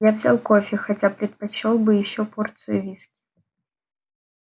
я взял кофе хотя предпочёл бы ещё порцию виски